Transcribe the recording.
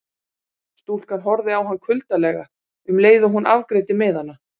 Stúlkan horfði á hann kuldalega um leið og hún afgreiddi miðana.